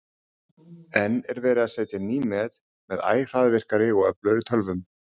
enn er verið að setja ný met með æ hraðvirkari og öflugri tölvum